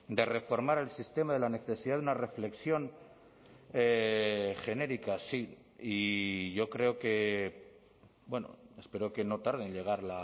de reformar el sistema de la necesidad de una reflexión genérica sí y yo creo que bueno espero que no tarde en llegar